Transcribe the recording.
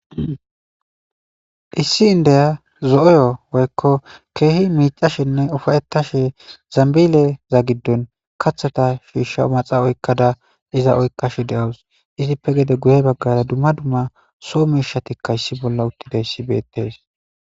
issi indeya zo7oyo woykko keehi miicashenne ufayettashe zambileza giddon katheta shiishsha omaxa oykkada iza oykkashe de7owus izippe gede guyey baggara dumma dumma soo mishatikka issi bolla uttidayssi beettes